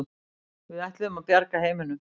Við ætluðum að bjarga heiminum.